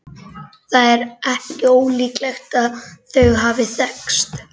Það er ekki ólíklegt að þau hafi þekkst.